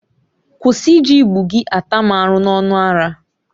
Kwụsị iji igbu gị ata m arụ n'ọnụ ara!